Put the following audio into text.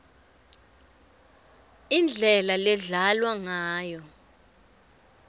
indlela ledlalwa ngayo